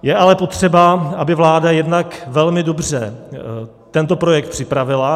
Je ale potřeba, aby vláda jednak velmi dobře tento projekt připravila.